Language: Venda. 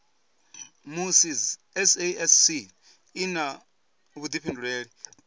musi sasc i na vhuifhinduleli